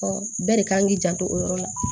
bɛɛ de kan k'i janto o yɔrɔ la